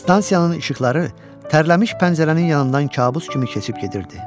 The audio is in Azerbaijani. Stansiyanın işıqları tərlənmiş pəncərənin yanından kabus kimi keçib gedirdi.